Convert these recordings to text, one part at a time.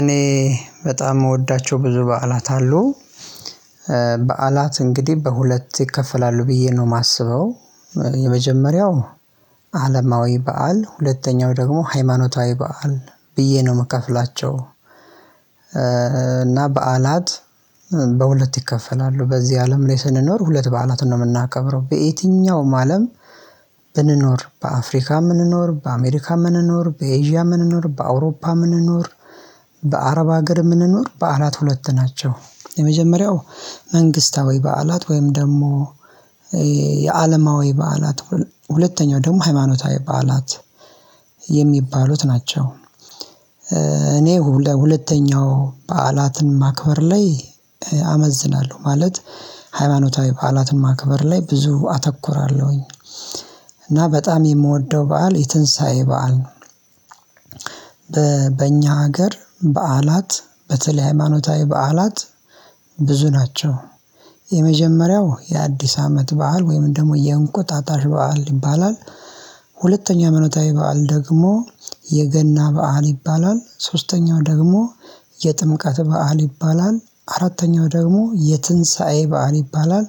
እኔ በጣም የምወዳቸው ብዙ በዓላት አሉ። በዓላት እንግዲህ በሁለት ይከፈላሉ ብዬ ነው የማስበው የመጀመሪያው አለማዊ በዓል ሁለተኛው ደግሞ ሃይማኖታዊ በዓል ብዬ ነው የምከፍላቸው። እና በዓላት በሁለት ይከፈላሉ በዚህ አለም ላይ ስንኖር ሁለት በዓላትን ነው የምናከብረው በየትኛውም አለም ብንኖር በአፍሪካ ምንኖር በአሜሪካ ምንኖር በኤዥያ ምንኖር በአውሮፓ ምንኖር በአረብ ሀገር የምንኖር በዓላት ሁለት ናቸው። የመጀመሪያው መንግስታዊ በዓላት ወይም ደግሞ የአለማዊ በዓላት ሁለተኛው ደግሞ ሃይማኖታዊ በዓላት የሚባሉት ናቸው። እኔ ለሁለተኛው በዓላትን ማክበር ላይ አመዝናለሁ ማለት ሃይማኖታዊ በዓላትን ማክበር ላይ ብዙ አተኩራለሁኝ እና በጣም የምወደው በዓል የትንሳኤ በዓል። ነው በእኛ ሀገር በዓላት በተለይ ሃይማኖታዊ በዓላት ብዙ ናቸው። የመጀመሪያው የአዲስ አመት በዓል ወይም ደግሞ የእንቁጣጣሽ በዓል ይባላል። ሁለተኛ ሃይማኖታዊ በዓል ደግሞ የገና በዓል ይባላል ሶስተኛው ደግሞ የጥምቃት በዓል ይባላል አራተኛው ደግሞ የትንሳኤ በዓል ይባላል።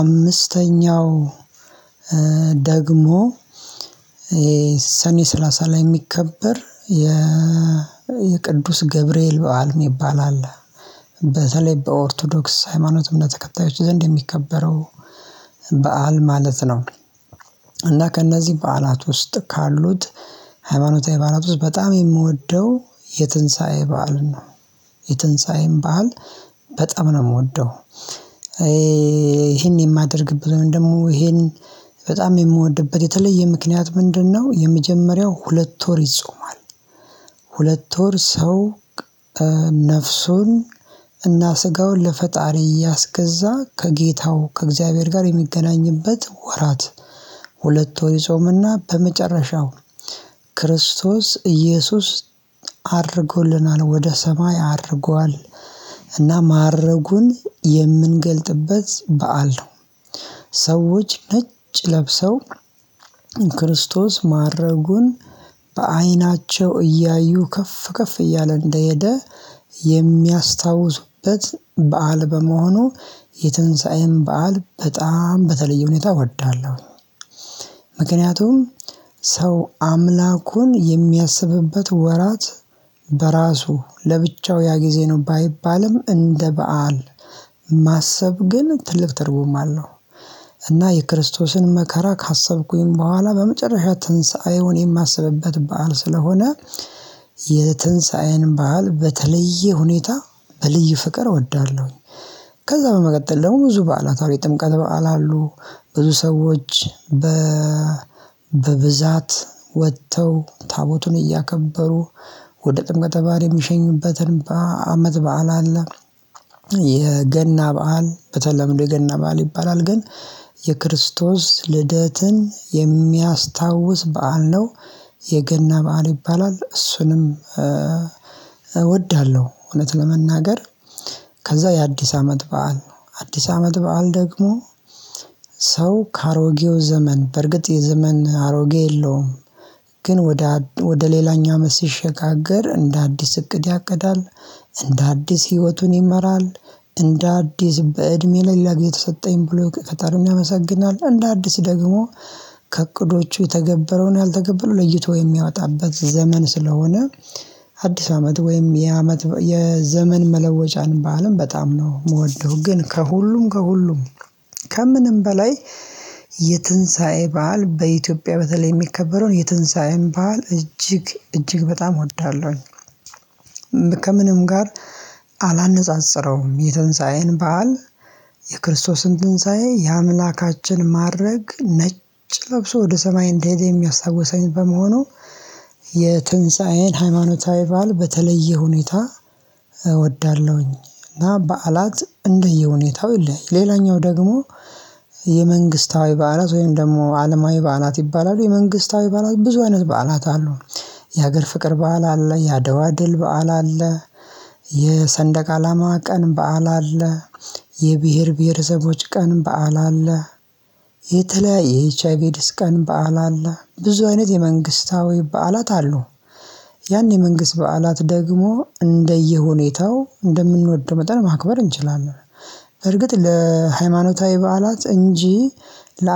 አምስተኛው ደግሞ የሰኔ ሰላሳ ላይ የሚከበር የ የቅዱስ ገብርኤል በዓል የሚባል አለ። በተለይ በኦርቶዶክስ ሃይማኖት እምነት ተከታዮች ዘንድ የሚከበረው በዓል ማለት ነው። እና ከእነዚህ በዓላት ውስጥ ካሉት ሃይማኖታዊ ባለብሶች በጣም የምወደው የትንሳኤ በዓል ነው። የትንሳኤም በዓል በጣም ነው የምወደው። ይሄን የማደርግበት ወይም ደግሞ ይሄን በጣም የምወድበት የተለየ ምክንያት ምንድነው? የመጀመሪያው ሁለት ወር ይጾማል። ሁለት ወር ሰው ነፍሱን እና ስጋውን ለፈጣሪ እያስገዛ ከጌታው ከእግዚአብሔር ጋር የሚገናኝበት ወራት ሁለት ወር ይጾምና በመጨረሻው ክርስቶስ ኢየሱስ አርጎልናል ወደ ሰማይ አድርጓል። እና ማረጉን የምንገልጥበት በዓል ነው። ሰዎች ነጭ ለብሰው ክርስቶስ ማረጉን በአይናቸው እያዩ ከፍ ከፍ እያለ እንደሄደ የሚያስታውስበት በዓል በመሆኑ የትንሳኤን በዓል በጣም በተለየ ሁኔታ እወዳለሁ። ምክንያቱም ሰው አምላኩን የሚያስብበት ወራት በራሱ ለብቻው ያ ጊዜ ነው ባይባልም እንደ በዓል ማሰብ ግን ትልቅ ትርጉም አለው። እና የክርስቶስን መከራ ካሰብኩኝ በኋላ በመጨረሻ ትንሳኤውን የማስብበት በዓል ስለሆነ የትንሳኤን በዓል በተለየ ሁኔታ በልዩ ፍቅር እወዳለሁኝ። ከዛ በመቀጠል ደግሞ ብዙ በዓላት አሉ የጥምቀት በዓል አሉ ብዙ ሰዎች በ በብዛት ወጥተው ታቦቱን እያከበሩ ወደ ጥምቀት በዓል የሚሸኙበትን በአመት በዓል አለ። የገና በዓል በተለምዶ የገና በዓል ይባላል ግን የክርስቶስ ልደትን የሚያስታውስ በዓል ነው። የገና በዓል ይባላል እሱንም እወዳለሁ እውነት ለመናገር። ከዛ የአዲስ አመት በዓል አዲስ አመት በዓል ደግሞ ሰው ከአሮጌው ዘመን በርግጥ የዘመን አሮጌ የለውም። ግን ወደ ወደ ሌላኛው አመት ሲሸጋገር እንደ አዲስ እቅድ ያቅዳል። እንደ አዲስ ህይወቱን ይመራል። እንደ አዲስ በእድሜ ሌላ ጊዜ ተሰጠኝ ብሎ ከታርን ያመሰግናል እንደ አዲስ ደግሞ ከእቅዶቹ የተገበረውን ያልተገበረው ለይቶ የሚያወጣበት ዘመን ስለሆነ። አዲስ አመት ወይም የአመት የዘመን መለወጫን በዓልም በጣም ነው የምወደው ግን ከሁሉም ከሁሉም ከምንም በላይ የትንሳኤ በዓል በኢትዮጵያ በተለይ የሚከበረውን የትንሳኤን በዓል እጅግ በጣም እወዳለሁኝ። ከምንም ጋር አላነጻጽረውም። የትንሳዬን በዓል የክርስቶስን ትንሳኤ የአምላካችን ማረግ ነጭ ለብሶ ወደ ሰማይ እንደሄደ የሚያስታውሰኝ በመሆኑ የትንሳኤን ሃይማኖታዊ ባል በተለየ ሁኔታ እወዳለሁኝ። እና በዓላት እንደየሁኔታው ይለያያል። ሌላኛው ደግሞ የመንግስታዊ በዓላት ወይም ደግሞ አለማዊ በዓላት ይባላሉ። የመንግስታዊ በዓላት ብዙ አይነት በዓላት አሉ። የሀገር ፍቅር በዓል አለ ያደዋ ድል በዓል አለ። የሰንደቅ አላማ ቀን በዓል አለ። የብሄር ብሄረሰቦች ቀን በዓል አለ። የተለያየ ኤች አይ ቪ ኤድስ ቀን በዓል አለ ብዙ አይነት የመንግስታዊ በዓላት አሉ። ያኔ መንግስት በዓላት ደግሞ እንደየሁኔታው እንደምንወደው መጠን ማክበር እንችላለን። በርግጥ ለሃይማኖታዊ በዓላት እንጂ ለ